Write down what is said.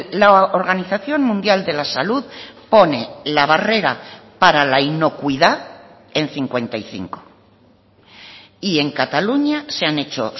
la organización mundial de la salud pone la barrera para la inocuidad en cincuenta y cinco y en cataluña se han hecho